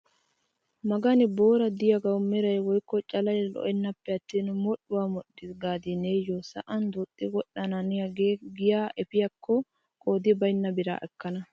Magani boori de'iyaagawu meray woykko calay lo"enna pe'attin modhdhuwaa modhdhiis gaadi niyoo sa'an duxxi wodhanaaniyaage giyaa epiyaakko qoodi baynna biraa ekkana!